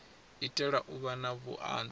itela u vha na vhuanzi